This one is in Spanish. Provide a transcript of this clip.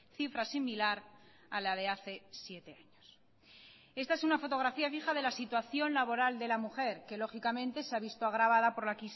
cifra similar a la de hace siete años esta es una fotografía vieja de la situación laboral de la mujer que lógicamente se ha visto agravada por la